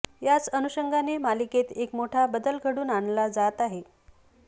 याच अनुषंगाने मालिकेत एक मोठा बदल घडून आणला जात आहे